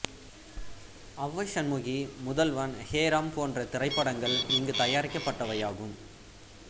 அவ்வை சண்முகி முதல்வன் ஹே ராம் போன்ற திரைப்படங்கள் இங்கு தயாரிக்கப்பட்டவையாகும்